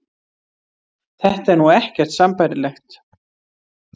Þetta er nú ekkert sambærilegt